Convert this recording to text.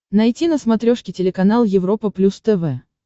найти на смотрешке телеканал европа плюс тв